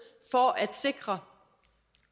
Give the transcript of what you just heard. for at sikre